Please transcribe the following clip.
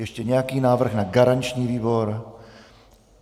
Ještě nějaký návrh na garanční výbor?